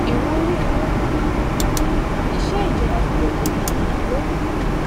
ìwúrí inú iṣẹ ìjọba fún gbogbo ènìyàn ló